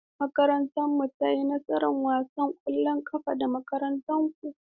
Makarantarmu ta yi nasara a wasan ƙwallon ƙafa da makarantarku.